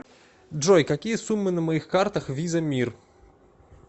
джой какие суммы на моих картах виза мир